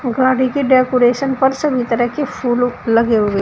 गाड़ी की डेकोरेशन पर सभी तरह के फूल लगे हुए--